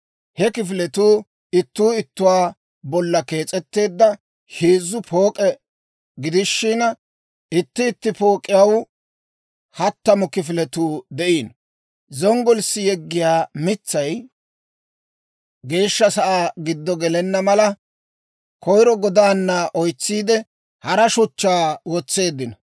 He kifiletuu ittuu ittuwaa bolla kees'etteedda heezzu pook'e gidishina, itti itti pook'iyaw hattamu kifiletuu de'iino. Zonggolissi yeggiyaa mitsay Geeshsha Sa'aa giddo gelenna mala, koyiro godaana oysetsiide, hara shuchchaa wotseeddino.